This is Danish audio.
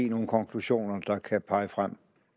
nogle konklusioner der kan pege frem